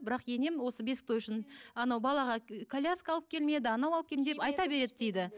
бірақ енем осы бесік той үшін анау балаға коляска алып келмеді анау алып келмеді айта береді дейді